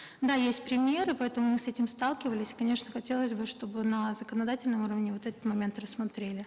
да есть примеры поэтому мы с этим сталкивались конечно хотелось бы чтобы на законодательном уровне вот этот момент рассмотрели